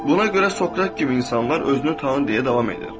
Buna görə Sokrat kimi insanlar özünü tanı deyə davam edir.